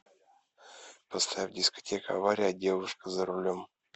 поставь дискотека авария девушка за рулем